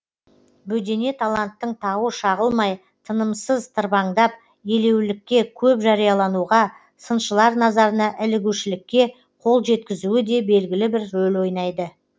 бөдене таланттың тауы шағылмай тынымысыз тырбаңдап елеулілікке көп жариялануға сыншылар назарына ілігушілікке қол жеткізуі де белгілі бір рөл ойнайды